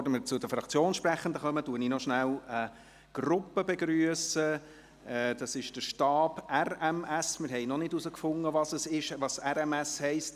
Es ist der Stab RMS des Bundesamts für Polizei (Fedpol) des Eidgenössischen Justiz-, und Polizeidepartements (EJPD), wobei wir noch nicht herausgefunden haben, was RMS heisst.